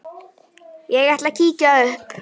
Ég ætla að kíkja upp